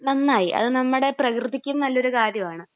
നന്നായി . അത് നമ്മുടെ പ്രകൃതിക്കും നല്ലൊരു കാര്യാണ്.